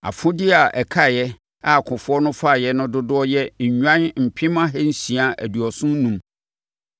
Afodeɛ a ɛkaeɛ a akofoɔ no faeɛ no dodoɔ yɛ nnwan mpem ahansia aduɔson enum (675,000);